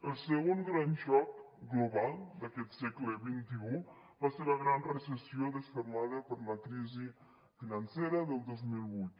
el segon gran xoc global d’aquest segle xxi va ser la gran recessió desfermada per la crisi financera del dos mil vuit